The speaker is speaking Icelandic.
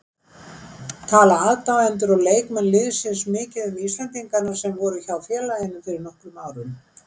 Tala aðdáendur og leikmenn liðsins mikið um íslendingana sem voru hjá félaginu fyrir nokkrum árum?